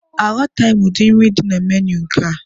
Amataghị m ụdi nri dị na menui nke a.